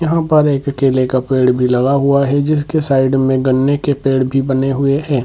यहाँ पर एक केले का पेड़ भी लगा हुआ है जिसके साइड में गन्ने के पेड़ भी बने हुए हैं ।